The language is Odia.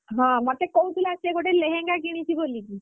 ହଁ ମତେ କହୁଥିଲା ସେ ଗୋଟେ ଲେହେଙ୍ଗା କିଣିଛି ବୋଲିକି।